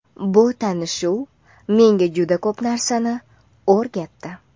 Bu tanishuv menga juda ko‘p narsani o‘rgatdi.